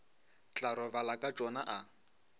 tla robala ka tšona a